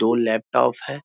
दो लैपटॉप है।